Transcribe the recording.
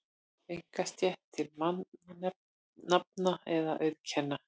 einkarétt til mannanafna eða auðkenna.